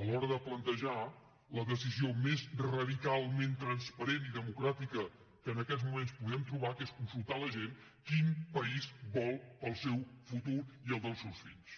a l’hora de plantejar la decisió més radicalment transparent i democràtica que en aquests moments podem trobar que és consultar a la gent quin país vol per al seu futur i el del seus fills